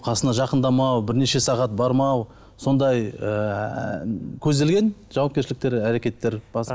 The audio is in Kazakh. қасына жақындамау бірнеше сағат бармау сондай ыыы көзделген жауапкершіліктер әрекеттер